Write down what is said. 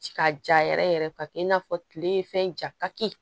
Ci ka ja yɛrɛ yɛrɛ ka kɛ i n'a fɔ tile fɛn ja kaki